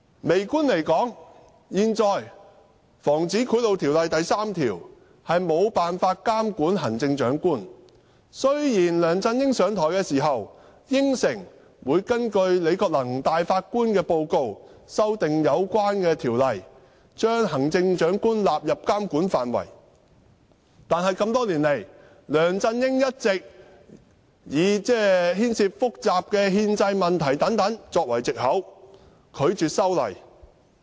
微觀而言，現行《防止賄賂條例》第3條無法監管行政長官，雖然梁振英上台時，曾答應會根據前首席法官李國能的報告，修訂有關的條例，將行政長官納入監管範圍，但多年來，梁振英一直以牽涉複雜的憲制問題等作為藉口，拒絕修例。